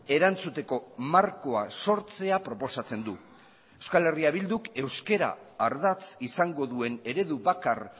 erantzuteko markoa sortzea proposatzen du euskal herria bilduk euskara ardatz izango duen eredu bakar